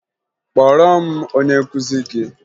Kpọọrọ m onye nkụzi gị!